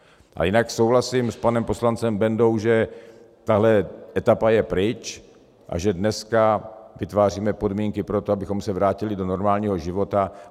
A jinak souhlasím s panem poslancem Bendou, že tahle etapa je pryč a že dneska vytváříme podmínky pro to, abychom se vrátili do normálního života.